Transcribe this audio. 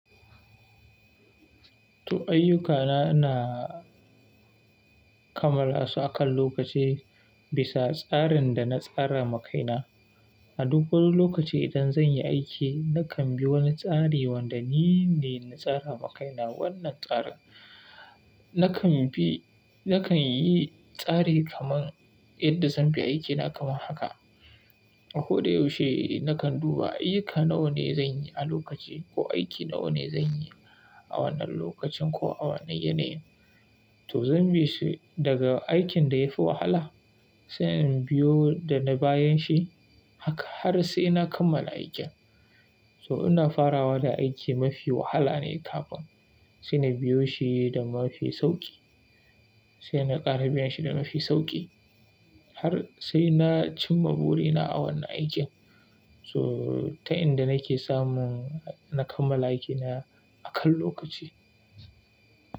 To ayyukana ina kammala su akan lokaci bisa tsarin da na tsara makaina. A duk wani lokaci idan zan yi aiki nakan bi wani tsari wanda ni ne na tsara ma kaina. Wannan tsarin nakan bi, nakan yi tsari kaman yadda zan bi aikina kamar haka. Ko da yaushe nakan duba aiyuka nawa ne zan yi a lokaci ko aiki nawa ne zan yi a wannan lokacin ko a wannan yanayi. To zan bi su daga aikin da ya fi wahala sai in biyo da na bayan shi haka har sai na kammala aikin. To ina farawa da aiki mafi wahala ne kafin sai na biyo shi da mafi sauƙi sai na ƙare biyan shi da mafi sauƙi har sai na cimma burina a wannan aikin. So ta inda nake samun na kammala aikina akan lokaci.